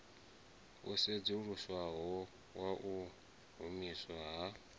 wo sedzuluswaho wau humiswa ha